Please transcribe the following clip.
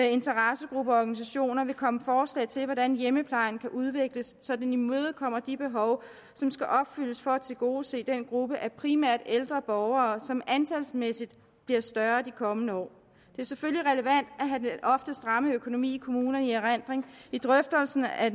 interessegrupper og organisationer vil komme forslag til hvordan hjemmeplejen kan udvikles så den imødekommer de behov som skal opfyldes for at tilgodese den gruppe af primært ældre borgere som antalsmæssigt bliver større de kommende år det er selvfølgelig relevant at have den ofte stramme økonomi i kommunerne i erindring i drøftelserne af